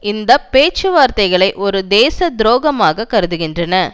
இந்த பேச்சுவார்த்தைகளை ஒரு தேச துரோகமாக கருதுகின்றன